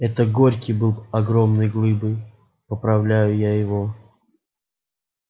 это горький был огромной глыбой поправляю его я